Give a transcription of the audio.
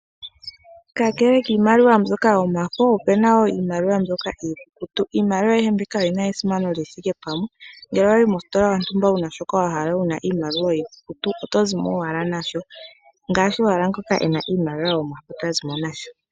Kakele kiimaliwa mbyoka yomafo, opuna iimaliwa iikukutu. Iimaliwa ayihe mbika oyi na esimano li thike pamwe. Ngele owa yi mositola yontumba wu na shoka wa hala wu na iimaliwa iikukutu, oto zi mo owala nasho ngaashi owala ngoka e na iimaliwa yomafo ta zi mo nasho.